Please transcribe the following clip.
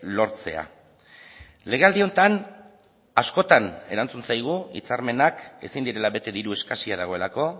lortzea legealdi honetan askotan erantzun zaigu hitzarmenak ezin direla bete diru eskasia dagoelako